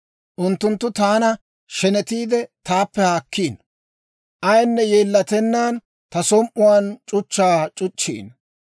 Unttunttu taana shenetiide, taappe haakkiino; ayinne yeellatennaan ta som"uwaan c'uchchaa c'uchchiino.